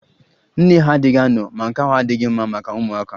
Nne ha adịghị ano ma nke ahụ adịghị mma maka ụmụaka